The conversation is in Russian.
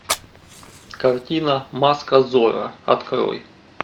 картина маска зорро открой